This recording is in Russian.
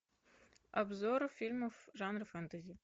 обзор фильмов жанра фэнтези